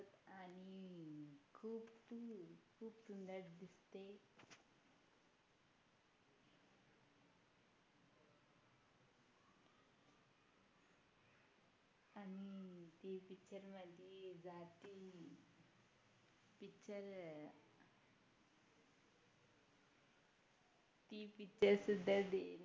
ती Picture सुद्धा